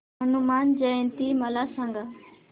हनुमान जयंती मला सांगा